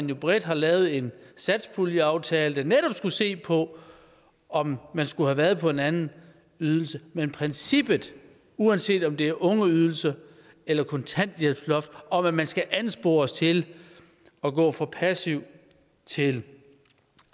vi bredt har lavet en satspuljeaftale der netop skulle se på om man skulle have været på en anden ydelse men princippet uanset om det er ungeydelse eller kontanthjælpsloft om at man skal anspores til at gå fra passiv til